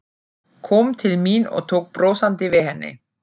Kom til mín og tók brosandi við henni.